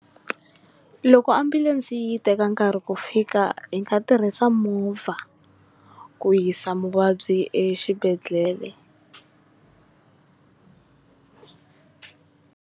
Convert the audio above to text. Loko ambulense yi teka nkarhi ku fika hi nga tirhisa movha ku yisa muvabyi exibedhlele.